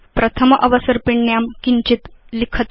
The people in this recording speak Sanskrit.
प्रथम अवसर्पिण्यां किञ्चित् लिखतु